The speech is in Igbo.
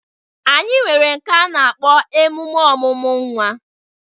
Anyi nwere nke a na-akpọ emume ọmụmụ nwa.